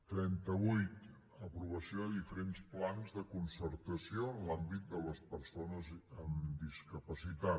trenta vuit aprovació de diferents plans de concertació en l’àmbit de les persones amb discapacitat